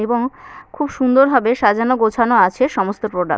এবং খুব সুন্দর ভাবে সাজানো গোছানো আছে সমস্ত প্রোডাক্ট ।